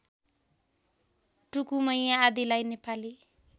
टुकुमैया आदिलाई नेपाली